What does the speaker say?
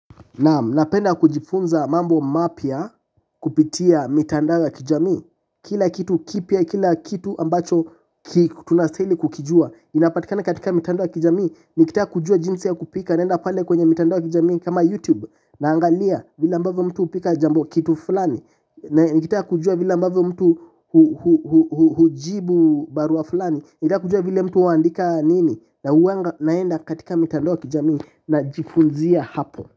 Naam, napenda kujifunza mambo mapya kupitia mitandao ya kijamii. Kila kitu kipya, kila kitu ambacho tunastahili kukijua inapatikana katika mitandao ya kijamii. Nikitaka kujua jinsi ya kupika naenda pale kwenye mitandao ya kijamii kama youtube naangalia vila ambavyo mtu hupika kitu fulani. Nikitaka kujua vile ambavyo mtu hujibu barua fulani, nikita kujua vila mtu huandika nini, hua naenda katika mitandao ya kijamii najifunzia hapo.